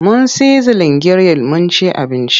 Mun sizlin giril mun ci abinci.